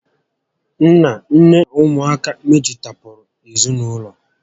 Nna, nné na ụmụ aka mejupụtara ezinaụlọ